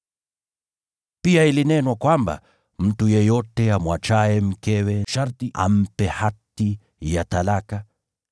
“Pia ilinenwa kwamba, ‘Mtu yeyote amwachaye mkewe sharti ampe hati ya talaka.’